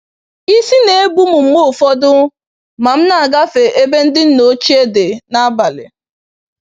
Isi n'ebum mgbe ụfọdụ ma m na-agafe ebe ndị nna ochie dị n'abalị.